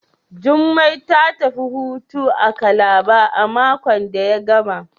Jummai ta tafi hutu a Calabar a makon da ya gama.